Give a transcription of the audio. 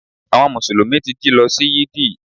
Àwon mùsùlùmí ti jí lo sí Yídì